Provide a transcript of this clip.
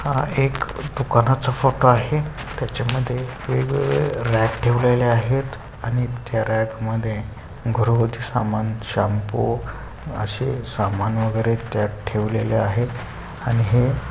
हा एक दुकानाचा फोटो आहे. त्याच्या मध्ये वेगवेगळे रैक ठेवलेले आहेत आणि त्या रैक मध्ये घरगुती समान शॅम्पू अशे समान वगैरे त्यात ठेवलेले आहेत. आणि हे --